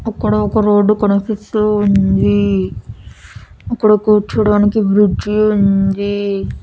అక్కడ ఒక రోడ్డు కనిపిస్తూ ఉంది. అక్కడ కూర్చోవడానికి కుర్చీ ఉంది.